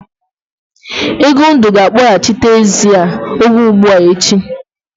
Egondụ ga-akpọghachite ezi a oge ugbua echi.